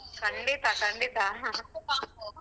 ಖಂಡಿತ ಖಂಡಿತ .